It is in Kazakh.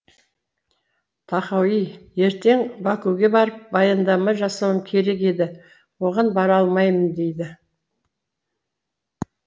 тахауи ертең бакуге барып баяндама жасауым керек еді оған бара алмаймын дейді